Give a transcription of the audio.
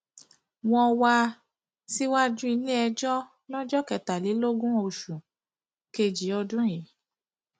wọ wá um síwájú iléẹjọ lọjọ kẹtàlélógún oṣù um kejì ọdún yìí